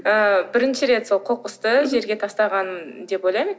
ы бірінші рет сол қоқысты жерге тастағаным деп ойлаймын